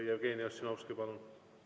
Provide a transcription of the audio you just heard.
Jevgeni Ossinovski, palun!